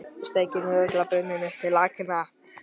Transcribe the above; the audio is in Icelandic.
Steikin er örugglega brunnin upp til agna.